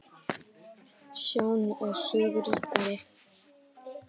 Sjón er sögu ríkari!